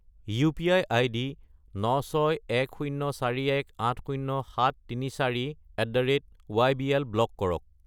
UPI. ID 96104180734@ybl block কৰক।